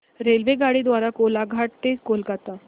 रेल्वेगाडी द्वारे कोलाघाट ते कोलकता